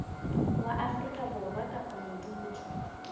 wa afrika borwa kapa modudi